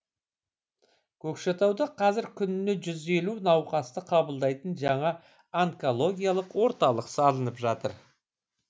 көкшетауда қазір күніне жүз елу науқасты қабылдайтын жаңа онкологиялық орталық салынып жатыр